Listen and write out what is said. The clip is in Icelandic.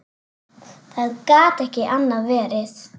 Það gat ekki annað verið.